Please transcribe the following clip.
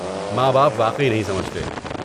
ماں باپ واقعی نہیں سمجھتے۔